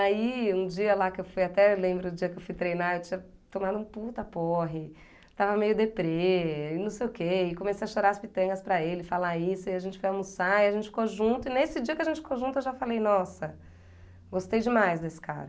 Aí, um dia lá que eu fui, até lembro do dia que eu fui treinar, eu tinha tomado um puta porre, estava meio deprê, e não sei o quê, e comecei a chorar as pitangas para ele, falar isso, e a gente foi almoçar, e a gente ficou junto, e nesse dia que a gente ficou junto, eu já falei, nossa, gostei demais desse cara.